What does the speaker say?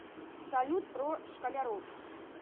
салют про школяров